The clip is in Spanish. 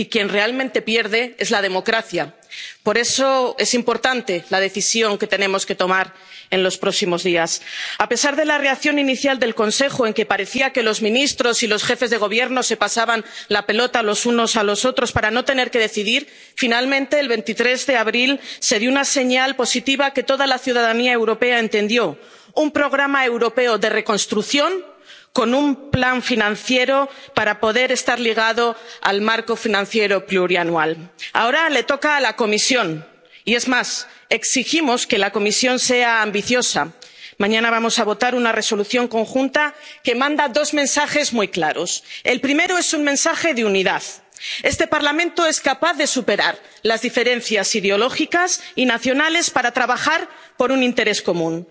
quien realmente pierde es la democracia. Por eso es importante la decisión que tenemos que tomar en los próximos días. A pesar de la reacción inicial del Consejo en que parecía que los ministros y los jefes de Gobierno se pasaban la pelota los unos a los otros para no tener que decidir, finalmente el 23 de abril se dio una señal positiva que toda la ciudadanía europea entendió un plan europeo de reconstrucción con un plan financiero para poder estar ligado al marco financiero plurianual. Ahora le toca a la Comisión y, es más, exigimos que la Comisión sea ambiciosa. Mañana vamos a votar una Resolución conjunta que manda dos mensajes muy claros. El primero es un mensaje de unidad. Este Parlamento es capaz de superar las diferencias ideológicas y nacionales para trabajar por un interés